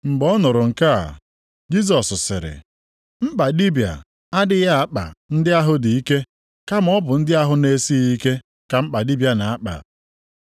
Mgbe ọ nụrụ nke a, Jisọs sịrị, “Mkpa dibịa adịghị akpa ndị ahụ dị ike, kama ọ bụ ndị ahụ na-esighị ike ka mkpa dibịa na-akpa.